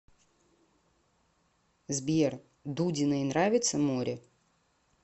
сбер дудиной нравится море